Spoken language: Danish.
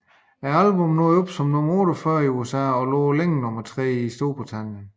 Albummet nåede op som nummer 48 i USA og nummer tre i Storbritannien